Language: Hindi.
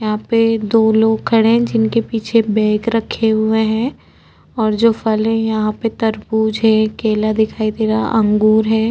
यहाँ पे दो लोग खड़े जिनके पिछे बैग रखें हुए हैं और जो फल यहाँ पे तरबूज है केला दिखाई दे रहा आंगूर हैं।